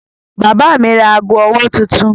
Bàbá mi ra ago-ọwọ́ tuntun.